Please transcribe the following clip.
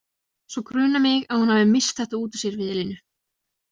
Svo grunar mig að hún hafi misst þetta út úr sér við Elínu.